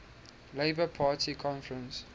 labour party conference